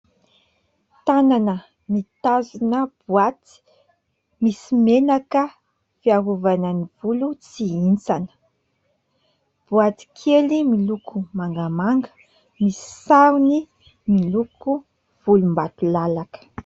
Tanana mitazona boaty misy menaka fiarovana ny volo tsy hihintsana. Boaty kely miloko mangamanga misy sarony miloko volombatolalaka.